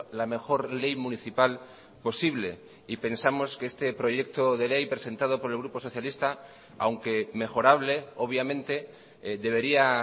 la mejor ley municipal posible y pensamos que este proyecto de ley presentado por el grupo socialista aunque mejorable obviamente debería